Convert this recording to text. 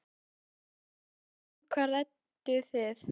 Fréttamaður: Og um hvað rædduð þið?